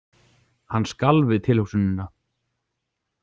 Hann skalf við tilhugsunina.